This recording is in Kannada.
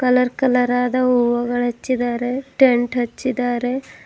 ಕಲರ್ ಕಲರ್ ಅದ ಹೂವಗಳಚ್ಚಿದ್ದಾರೆ ಟೆಂಟ್ ಹಚ್ಚಿದಾರೆ.